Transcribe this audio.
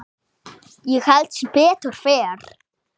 Ég held sem betur fer.